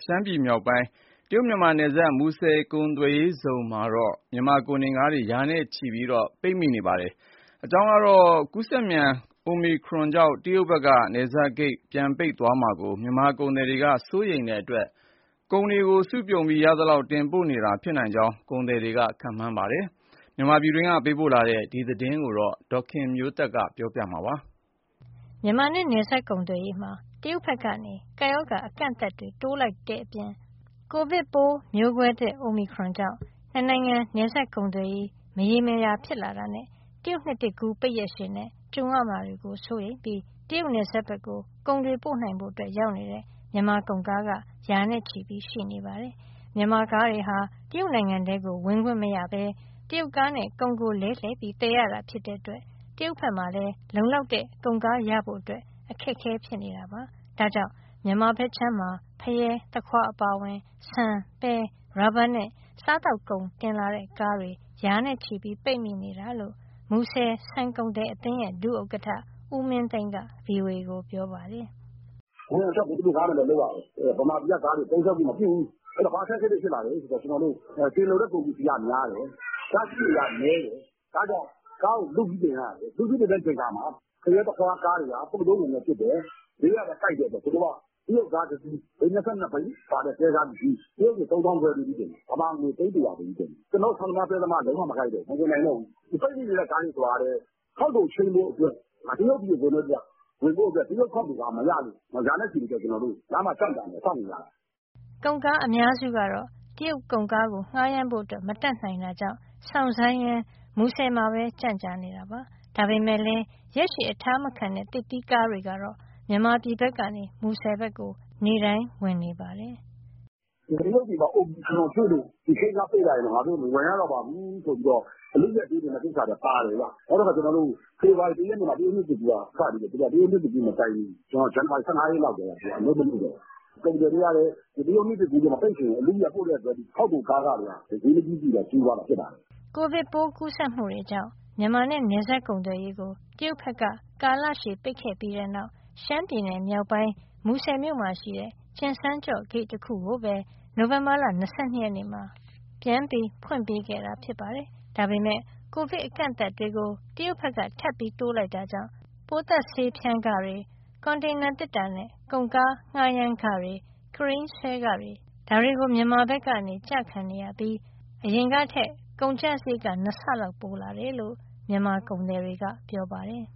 ရှမ်းပြည်နယ်မြောက်ပိုင်း တရုတ်-မြန်မာနယ်စပ် မူဆယ်ကုန်သွယ်ရေးဇုံမှာ မြန်မာကုန်ကားတွေ ရာနဲ့ချီပြီး ပိတ်ဆို့နေပါတယ်။ ကူးစက်မြန် အိုမီခရွန် ကိုဗစ်ပိုးသစ်ကြောင့် တရုတ်ဘက်က နယ်စပ်ဂိတ် ပြန်သွားပိတ်မှာကို မြန်မာကုန်သည်တွေက စိုးရိမ်တဲ့အတွက် ကုန်တွေစုပြုံပြီး ရသလောက် တင်ပို့နေတာဖြစ်နိုင်ကြောင်း ကုန်သည်တွေ ခန့်မှန်းပါတယ်။ မြန်မာပြည်တွင်းကပေးပို့တဲ့ ဒီသတင်းကိုတော့ ဒေါ်ခင်မျိုးသက် က ပြောပြပေးမှာပါ။ မြန်မာနဲ့ နယ်စပ်ကုန်သွယ်ရေးမှာ ကပ်ရောဂါ အကန့်အသတ်တွေကို တရုတ်ဘက်က တိုးလိုက်တာ၊ ကိုဗစ်မျိုးကွဲသစ် အိုမီခရွန်ကြောင့် နှစ်နိုင်ငံ နယ်စပ်ကုန်သွယ်ရေး မရေရာတာ၊ တရုတ်နှစ်သစ်ကူး ပိတ်ရက်ရှည်နဲ့ ကြုံရမှာ စိုးရိမ်ပြီး တရုတ်နယ်စပ်ဘက်ကို ကုန်တွေပို့နိုင်ဖို့ ရောက်နေတဲ့ မြန်မာကုန်ကား ရာနဲ့ချီရှိနေပါတယ်။ မြန်မာကားတွေဟာ တရုတ်နိုင်ငံထဲကို ဝင်ခွင့်မရဘဲ တရုတ်ကားနဲ့ ကုန်ကိုလဲလှယ်ပြီး သယ်ရတာဖြစ်လို့ တရုတ်ဘက်မှာလည်း လုံလောက်တဲ့ကုန်ကားရဖို့ အခက်အခဲဖြစ်နေပါတယ်။ ဒါကြောင့် မြန်မာဘက်အခြမ်းမှာ ဖရဲ၊ သခွားအပါအဝင် ဆန်၊ ပဲ၊ ရော်ဘာနဲ့ စားသောက်ကုန် တင်လာတဲ့ကားတွေ ရာနဲ့ချီပြီး ပိတ်မိနေတာလို့ မူဆယ်ဆန်ကုန်သည်အသင်းရဲ့ ဒုဥက္ကဋ္ဌ ဦးမင်းသိန်းက ဗွီအိုအေကို ပြောပါတယ်။ “အဝင်အထွက်ကို သူတို့ကားနဲ့ပဲလုပ်ရတယ်၊ ဗမာပြည်ကကားတွေ သုံးစွဲခွင့်မပြုဘူး၊ အဲဒီတော့ ဘာအခက်အခဲတွေ ဖြစ်လာလဲဆိုတော့ တင်လိုတဲ့ကုန်ပစ္စည်းက များတယ်၊ ကားအစီးရေကနည်းတယ်။ ဒါကြောင့်ကားကို လုပြီးတင်ရတယ်။ ဖရဲ၊ သခွားကားတွေက ပုပ်သိုးကုန်လည်းဖြစ်တယ်။ ဈေးကလည်းကိုက်တဲ့အတွက် သူတို့က တရုတ်ကား ဘီး၂၂ဘီးပါတဲ့ တွဲကားတစီး တရုတ်ငွေ ၃၅,၀၀၀ပေးပြီးတင်တယ်၊ မြန်မာငွေ သိန်း၁၀၀ပေးပြီး တင်တယ်။ ကျနော်တို့ ဆန်သမား၊ ပဲသမားက လုံးဝမကိုက်တော့ဘူး၊ မတင်နိုင်တော့ဘူး။ ပိတ်မိနေတဲ့ ကားတွေဆိုတာကလည်း ခေါက်တိုချိန်းဖို့အတွက် တရုတ်ပြည်ဝင်ဖို့အတွက် တရုတ်ခေါက်တိုကားမရလို့ ရာနဲ့ချီပြီး လမ်းမှာကြန့်ကြာနေတာ၊ စောင့်နေရတာ။” ကုန်ကားအများစုကတော့ တရုတ်ကုန်ကားကို ငှားရမ်းဖို့ မတတ်နိုင်တဲ့အတွက် စောင့်ဆိုင်းရင်း မူဆယ်မှာ ရက်ကြာနေကြပါတယ်။ ဒါပေမဲ့လည်း ရက်ရှည်အထားမခံတဲ့ သစ်သီးကားတွေကတော့ မြန်မာပြည်တွင်းကနေ မူဆယ်ဘက်ကို နေ့တိုင်းဝင်နေပါတယ်။ “တရုတ်ပြည်မှာ အိုမီခရွန်တွေ့လို့ ဒီဂိတ်တံခါးပိတ်လိုက်ရင်တော့ ငါတို့မဝင်ရတော့ပါဘူးဆိုပြီး အလုအယက်တင်တဲ့ကိစ္စလည်း ပါတယ်ဗျ။ နောက်တခါ ဖေဖော်ဝါရီ ၁ရက်မှာ တရုတ်နှစ်သစ်ကူးက စပြီဆိုတော့ တရုတ်နှစ်ကူးမတိုင်မီ ဇန်နဝါရီ ၁၅ ရက်လောက်ကတည်းက သူတို့ကအလုပ်မလုပ်တော့ဘူး။ ကုန်သည်တွေကလည်း တရုတ်နှစ်သစ်ကူးမပိတ်ခင် အလုအယက်ပို့တဲ့အတွက် ခေါက်တိုကားခတွေက ဈေးမကြီးသင့်ဘဲ ကြီးသွားတာ ဖြစ်ပါတယ်။” ကိုဗစ်ကူးစက်မှုတွေကြောင့် မြန်မာနဲ့နယ်စပ်ကုန်သွယ်ရေးကို တရုတ်ဘက်က ကာလရှည်ပိတ်ပြီးတဲ့နောက် ရှမ်းပြည်နယ်မြောက်ပိုင်း မူဆယ်မြို့မှာရှိတဲ့ ကျင်စန်းကျော့ဂိတ် တခုကိုပဲ နိုဝင်ဘာလ ၂၂ ရက်မှာ ပြန်ပြီးဖွင့်ပေးခဲ့တာပါ။ ဒါပေမဲ့ ကိုဗစ်အကန့်အသတ်တွေကို တရုတ်ဘက်က ထပ်ပြီးတိုးလိုက်တဲ့အတွက် ပိုးသတ်ဆေးဖြန်းခတွေ၊ ကွန်တိန်သေတ္တာနဲ့ ကုန်ကားငှားရမ်းခတွေ၊ ကရိန်းဆွဲခတွေ ဒါတွေကို မြန်မာဘက်ကျခံရပြီး အရင်ကထက် ကုန်ကျစရိတ် ၂ ဆလောက် ပိုလာတယ်လို့ မြန်မာကုန်သည်တွေက ပြောပါတယ်